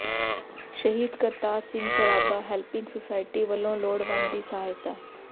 ਸ਼ਹੀਦ Kartar Singh Sarabha helping society ਵੱਲੋਂ ਲੋੜਵੰਦ ਦੀ ਸਹਾਇਤਾ